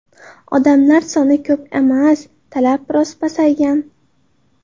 Odamlar soni ko‘p emas, talab biroz pasaygan.